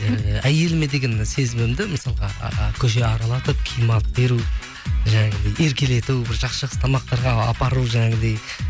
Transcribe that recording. ііі әйеліме деген сезімімді мысалға көше аралатып киім алып беру еркелету бір жақсы жақсы тамақтарға апару жаңағыдай